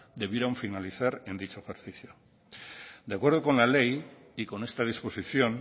debieron finalizar en dicho ejercicio de acuerdo con la ley y con esta disposición